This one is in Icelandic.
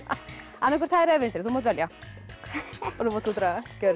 annaðhvort hægri eða vinstri þú mátt velja nú mátt þú draga gjörðu